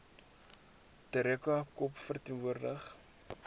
terracotta kop verteenwoordig